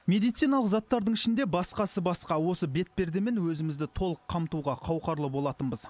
медициналық заттардың ішінде басқасы басқа осы бетпердемен өзімізді толық қамтуға қауқарлы болатынбыз